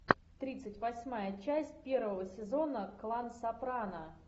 тридцать восьмая часть первого сезона клан сопрано